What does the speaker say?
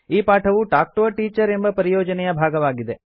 ಈ ಪಾಠವು talk to a teacher ಎಂಬ ಪರಿಯೋಜನೆಯ ಭಾಗವಾಗಿದೆ